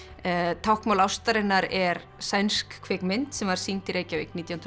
táknmál ástarinnar er sænsk kvikmynd sem var sýnd í Reykjavík nítján hundruð